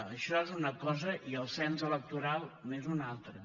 això és una cosa i el cens electoral n’és una altra